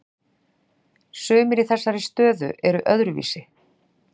Sumir í þessari stöðu eru öðruvísi